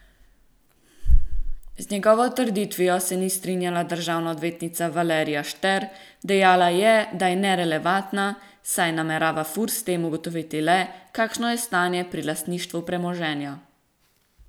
Z njegovo trditvijo se ni strinjala državna odvetnica Valerija Šter, dejala je, da je nerelevantna, saj namerava Furs s tem ugotoviti le, kakšno je stanje pri lastništvu premoženja.